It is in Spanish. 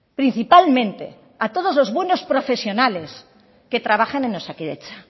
principalmente a todos los buenos profesionales que trabajan en osakidetza